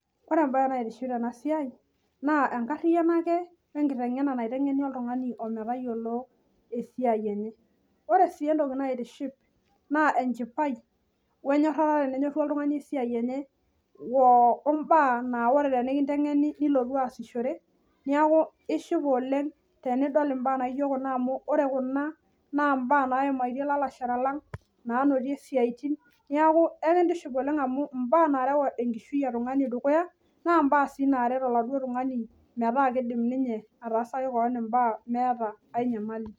Ore embae naitiship tenasiai naa enkariano ake wenkitengena naitengeni oltungani ometayiolo esiai enye . Ore sii entoki naitiship naa enchipai wenyorata tenenyoru oltungani esiai enye wombaa naa ore tenikitengeni nilotu aasishore niaku ishipa oleng tenidol imbaa naijo kuna amu ore kuna naa mbaa naimaitie lalashera lang , nanotie siatin niaku enkitiship oleng naa mnbaa sii naret oltungani metaa kidim ninye atareto kewon meeta enyamali .